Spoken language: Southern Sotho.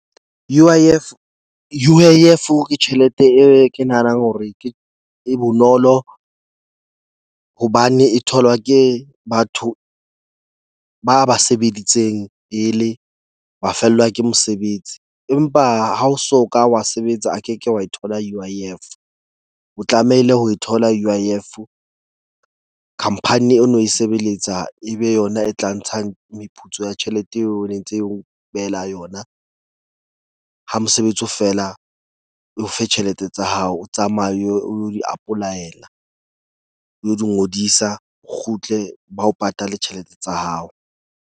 U_I_F ke tjhelete e ke nahanang hore ke e bonolo hobane e tholwa ke batho ba ba sebeditseng pele wa fellwa ke mosebetsi. Empa ha o so ka wa sebetsa a ke ke wa e thola U_I _F. O tlamehile ho e thola U_I_F. Khampani eo no e sebeletsa ebe yona e tla ntshang meputso ya tjhelete eo ne ntse o behela yona. Ha mosebetsi o feela o fe tjhelete tsa hao, o tsamaye o yo o lo di apolaela o lo di ngodisa. O kgutle ba o patale tjhelete tsa hao.